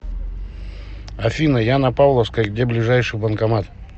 афина я на павловской где ближайший банкомат